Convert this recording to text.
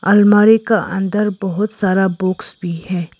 अलमारी का अंदर बहुत सारा बॉक्स भी है।